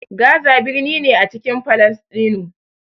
Gaza birni ne a cikin Falasɗinu.